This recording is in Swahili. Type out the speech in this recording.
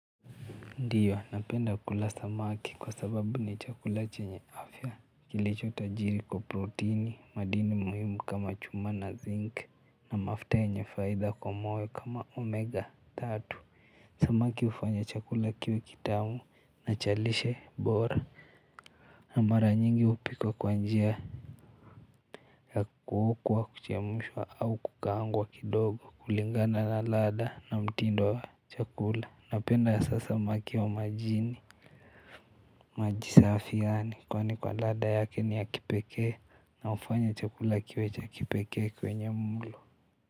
Ndio napenda kula samaki kwa sababu ni chakula chenye afya kilicho tajiri kwa protini madini muhimu kama chuma na zinc na mafuta yenye faida kwa moyo kama omega tatu samaki hufanya chakula kiwe kitamu na cha lishe bora na mara nyingi hupikwa kwa njia ya kuokwa kuchemshwa au kukaangwa kidogo kulingana na ladha na mtindwa wa chakula napenda hasa samaki wa majini. Maji safi yaani kwani kwa ladha yake ni ya kipekee na hufanya chakula kiwe cha kipekee kwenye mlo.